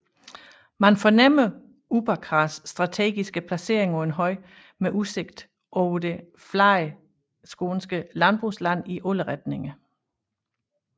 Man fornemmer Uppåkras strategiske placering på en høj med udsigt over det flade skånske landbrugsland i alle retninger